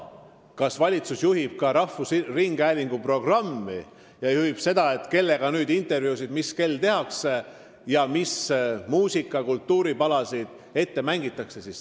Kas valitsus juhib ka rahvusringhäälingu programmi ja seda, kellega mis kell intervjuusid tehakse ja mis muusika- või kultuuripalasid ette mängitakse?